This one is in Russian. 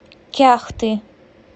кяхты